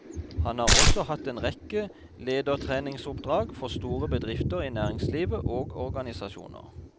Han har også hatt en rekke ledertreningsoppdrag for store bedrifter i næringslivet og organisasjoner.